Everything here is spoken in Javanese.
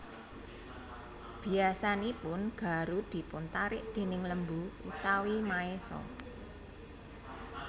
Biasanipun garu dipun tarik déning lembu utawi maésa